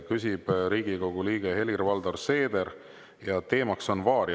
Küsib Riigikogu liige Helir-Valdor Seeder ja teema on varia.